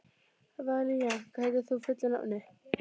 Valíant, hvað heitir þú fullu nafni?